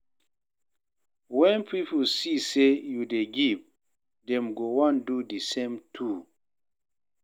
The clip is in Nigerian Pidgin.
Wen pipo see say yu dey give, dem go wan do the same too.